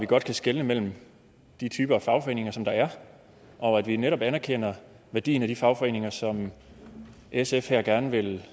godt kan skelne mellem de typer af fagforeninger som der er og at vi netop anerkender værdien af de fagforeninger som sf her gerne vil